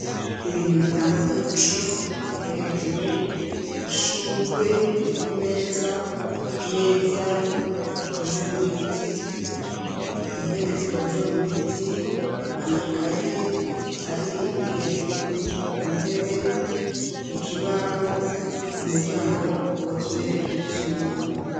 Ibintu bitang'umuco biri hejuru , ishugwe riri kumeza , imeza ikozwe mubiti, intebe zikozwe mubiti, amakaye ari hejuru kuntebe, ikibaho, umuryango ukozwe mu vyuma .